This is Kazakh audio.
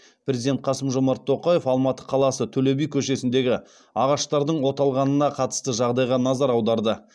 президент қасым жомарт тоқаев алматы қаласы төле би көшесіндегі ағаштардың оталғанына қатысты жағдайға назар аударды